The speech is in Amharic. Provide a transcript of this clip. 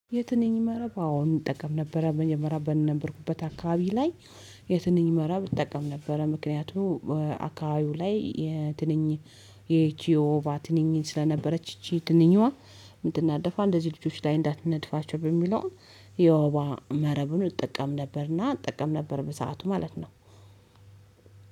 የትንኝ መረብ አዎ እንጠቀም ነበረ መጀመሪያ በነበርኩበት አካባቢ ላይ። የትንኝ መረብ እንጠቀም ነበረ ምክንያቱም አካባቢው ላይ የትንኝ እቺ የወባ ትንኝ ስለነበረች ይቺ ትንኝዋ ምትናደፋዋ እንደዚህ ልጆች ላይ እንዳትነድፋቸው በሚለው የወባ መረብኑን እጠቀም ነበርና እጠቀም ነበር። በሰአቱ ማለት ነው።